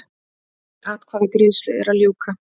Atkvæðagreiðslu er að ljúka